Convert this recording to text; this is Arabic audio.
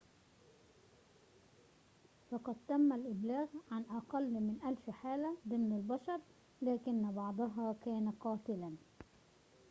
فقد تم الإبلاغ عن أقل من ألف حالة ضمن البشر لكن بعضها كان قاتلاً